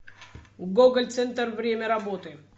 гоголь центр время работы